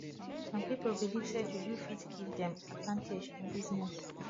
some pipo believe say juju fit give dem advantage in business